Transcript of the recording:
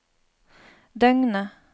døgnet